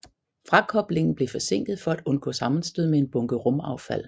Frakoblingen blev forsinket for at undgå sammenstød med en bunke rumaffald